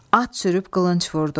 At sürüb qılınc vurdu.